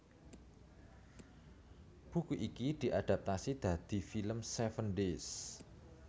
Buku iki diadaptasi dadi film Seven Days